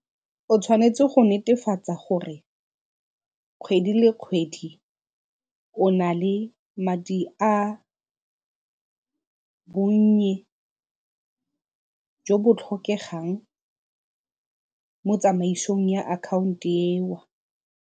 O tshwanetse go netefatsa gore kgwedi le kgwedi o na le madi a bonnye jo bo tlhokegang mo tsamaisong ya akhaonto .